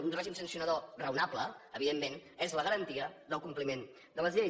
un règim sancionador raonable evidentment és la garantia del compliment de les lleis